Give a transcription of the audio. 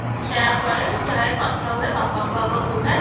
ମୁଁ ସେଇଆ କରେ ଯାଏ କଥା ହୁଏ ବାପାଙ୍କୁ ଆଗ କୁହେ